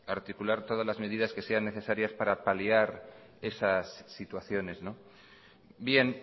articular todas las medidas que sean necesarias para paliar esas situaciones bien